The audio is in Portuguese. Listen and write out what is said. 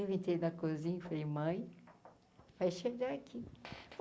Eu entrei na cozinha, e falei, mãe, vai chegar aqui.